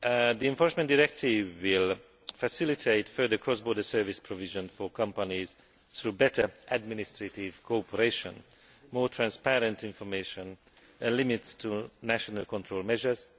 The enforcement directive will facilitate further cross border service provision for companies through better administrative cooperation, more transparent information and limits to national control measures.